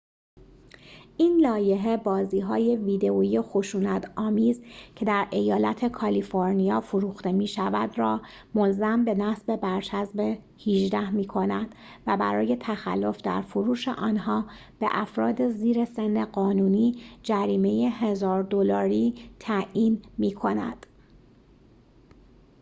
این لایحه بازی های ویدئویی خشونت آمیز که در ایالت کالیفرنیا فروخته می شود را ملزم به نصب برچسب ۱۸ می‌کند و برای تخلف در فروش آنها به افراد زیر سن قانونی جریمه ۱۰۰۰ دلاری تعیین می‌کند